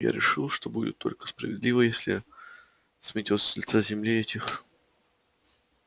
я решил что будет только справедливо если сметёт с лица земли этих